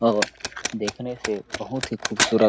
और देखने से बहुत ही खूबसूरत --